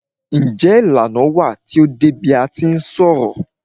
Njé ìlànà wà tí o dé bi a ti ń ṣọ̀rọ̀?